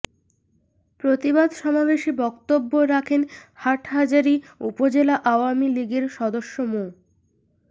প্রতিবাদ সমাবেশে বক্তব্য রাখেন হাটহাজারী উপজেলা আওয়ামী লীগের সদস্য মো